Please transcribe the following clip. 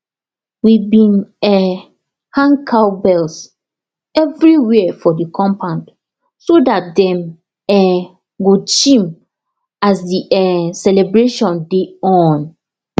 we been um hang cowbells everywhere for the compound so dat dem um go chim as the um celebration dey on